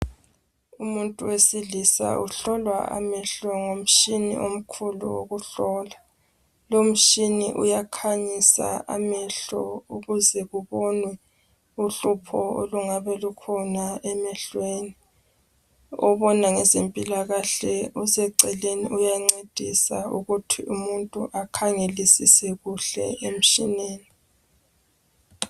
Umuntu wesilisa uhlolwa amehlo ngomtshina omkhulu wokuhlola. Lowo mtshina uyakhanyisa amehlo ukuze kubonwe uhlupho olungabe lukhona emehlweni. Obona ngezempilakahle useceleni uyancedisa ukuthi umuntu akhangelisise kuhle emtshineni.